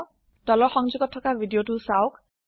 তলৰ সংযোগত থকা ভিডিঅ চাওক